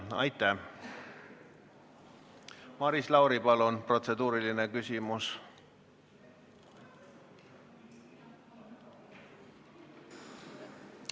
Maris Lauri, palun, protseduuriline küsimus!